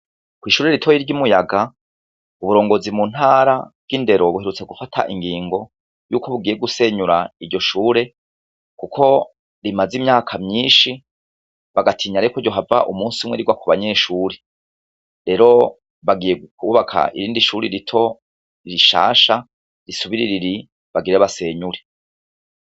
Kw'ishure ritoyi ry'i Muyaga, uburongozi mu ntara bw'indero buherutse gufata ingingo yuko bugiye gusenyura iryo shure, kuko rimaze imyaka myinshi bagatinya rero ko ryohava umunsi umwe rigwa ku banyeshure, rero bagiye kwubaka irindi shuri rito rishasha risubirira iri bagira basenyure.